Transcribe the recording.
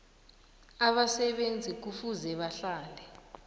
abasebenzi kufuze bahlale